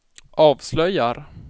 avslöjar